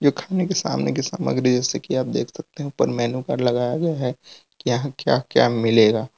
ये खाने की सामने की सामग्री जैसे कि आप देख सकते हो ऊपर मेनू कार्ड लगाया गया है कि यहां क्या क्या मिलेगा?